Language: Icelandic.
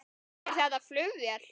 Er þetta flugvél?